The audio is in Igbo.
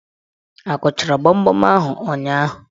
Akụchara gbamgbam ahụ ụnyaahụ?